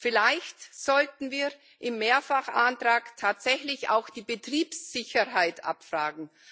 Vielleicht sollten wir im Mehrfachantrag tatsächlich auch die Betriebssicherheit abfragen.